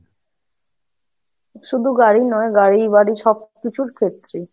শুধু গাড়ি নয়, গাড়ি, বাড়ি, সব কিছুর ক্ষেত্রেই।